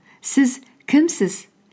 сіз кімсіз